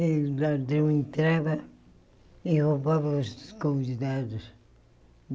E o ladrão entrava e roubava os convidados.